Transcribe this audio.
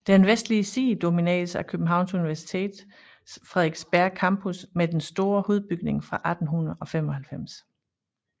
Den vestlige side domineres af Københavns Universitets Frederiksberg Campus med den store hovedbygning fra 1895